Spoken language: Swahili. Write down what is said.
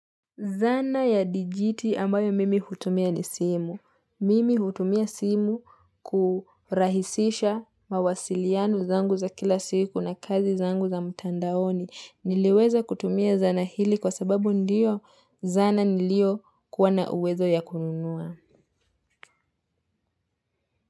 Zana ya dijiti ambayo mimi hutumia ni simu. Mimi hutumia simu kurahisisha mawasiliano zangu za kila siku na kazi zangu za mtandaoni. Niliweza kutumia zana hili kwa sababu ndiyo zana niliokuwana uwezo ya kununua.